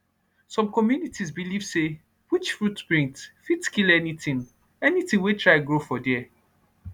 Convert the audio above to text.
some communities believe say witch footprint fit kill anything anything wey try grow for there